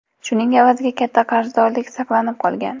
Shuning evaziga katta qarzdorlik saqlanib qolgan”.